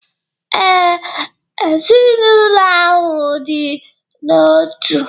Ee, ezinaụlọ ahụ dị n'otu.